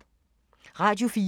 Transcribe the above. Radio 4